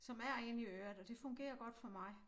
Som er inde i øret og det fungerer godt for mig